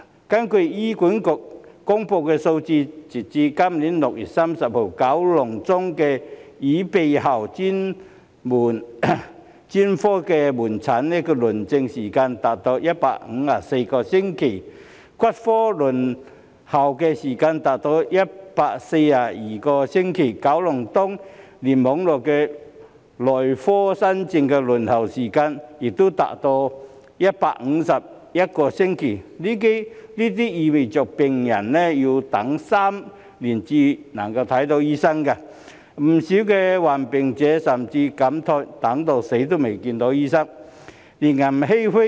根據醫院管理局公布的數字，截至今年6月30日，九龍中的耳鼻喉專科門診新症輪候時間長達154星期；骨科輪候時間長達142星期；九龍東聯網內科新症的輪候時間亦長達151星期，這意味病人要等3年才能見到醫生；不少患病長者甚至慨嘆："等到死都未見到醫生"，令人欷歔。